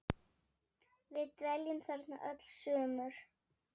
Við dveljum þarna öll sumur.